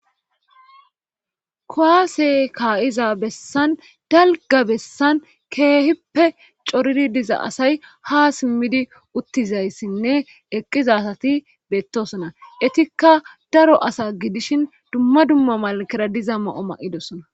kuwaase kaa'iza bessan dalga bessan keehippe coridi diza asay ha simmidi uttizayssinne eqqizasati beettosona etikka daro asa gidishin dumma dumma malakera diza ma'o ma'idosona